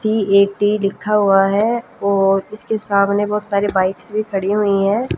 C A T लिखा हुआ है और इसके सामने बहोत सारी बाइक्स भी खड़ी हुईं हैं।